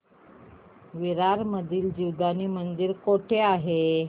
विरार मधील जीवदानी मंदिर कुठे आहे